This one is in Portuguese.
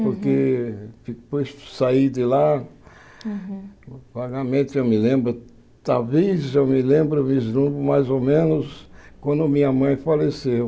Porque depois que eu saí de lá, vagamente eu me lembro, talvez eu me lembro um vislumbre mais ou menos quando minha mãe faleceu.